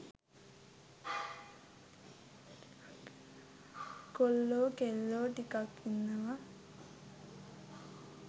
කොල්ලෝ කෙල්ලෝ ටිකක් ඉන්නවා.